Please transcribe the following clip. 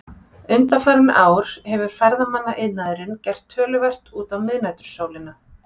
Undanfarin ár hefur ferðamannaiðnaðurinn gert töluvert út á miðnætursólina.